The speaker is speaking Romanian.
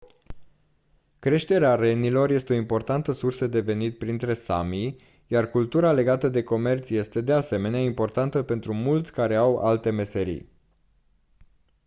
creșterea renilor este o importantă sursă de venit printre sami iar cultura legată de comerț este de asemenea importantă pentru mulți care au alte meserii